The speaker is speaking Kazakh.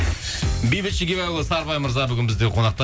бейбіт шегебайұлы сарыбай мырза бүгін бізде қонақта